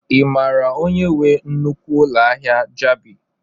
Ị mara onye nwe nnukwu ụlọ ahịa Jabi?